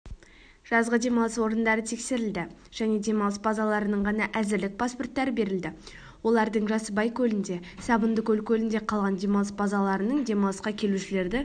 жазғы демалыс орындары тексерілді және демалыс базаларының ғана әзірлік паспорттары берілді олардың жасыбай көлінде сабындыкөл көлінде қалған демалыс базаларының демалысқа келушілерді